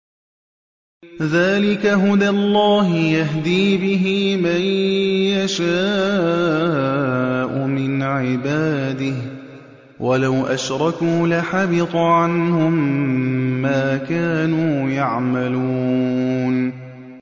ذَٰلِكَ هُدَى اللَّهِ يَهْدِي بِهِ مَن يَشَاءُ مِنْ عِبَادِهِ ۚ وَلَوْ أَشْرَكُوا لَحَبِطَ عَنْهُم مَّا كَانُوا يَعْمَلُونَ